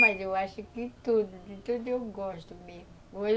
Mas eu acho que tudo, de tudo eu gosto mesmo.